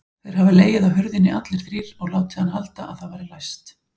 Þeir hafa legið á hurðinni allir þrír og látið hann halda að það væri læst!